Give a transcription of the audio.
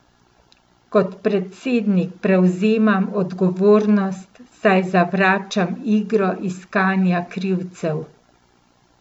Kot predsednik prevzamem odgovornost, saj zavračam igro iskanja krivcev.